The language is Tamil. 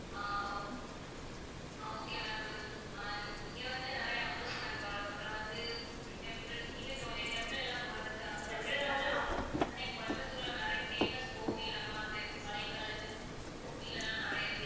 ஆஹ் o~ ah okay ma'am good ah இங்க வந்து நிறைய amusement park அப்புறம் வந்து temples நீங்க temple எல்லாம் போறதுக்காக கோயம்புத்தூர்ல நிறைய famous கோவில் அந்த மாதிரி இருக்கும் பழைய காலத்து கோவில் எல்லாம் நிறைய இருக்கு.